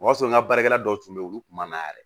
O y'a sɔrɔ n ka baarakɛla dɔw tun bɛ yen olu kun man na yɛrɛ